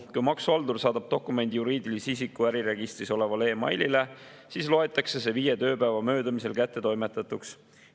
Kui maksuhaldur saadab dokumendi juriidilise isiku äriregistris olevale e‑mailile, siis loetakse see viie tööpäeva möödumisel kättetoimetatuks.